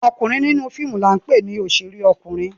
Ọkunrin ninu fiimu ni a npe ni oṣere ọkunein